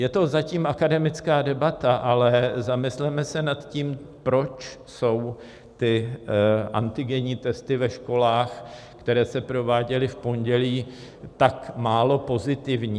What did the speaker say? Je to zatím akademická debata, ale zamysleme se nad tím, proč jsou ty antigenní testy ve školách, které se prováděly v pondělí, tak málo pozitivní.